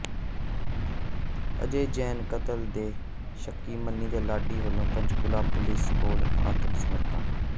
ਅਜੈ ਜੈਨ ਕਤਲ ਦੇ ਸ਼ੱਕੀ ਮਨੀ ਤੇ ਲਾਡੀ ਵੱਲੋਂ ਪੰਚਕੂਲਾ ਪੁਲਿਸ ਕੋਲ ਆਤਮ ਸਮਰਪਣ